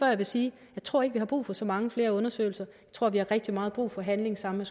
jeg vil sige jeg tror ikke vi har brug for så mange flere undersøgelser jeg tror vi har rigtig meget brug for handling sammen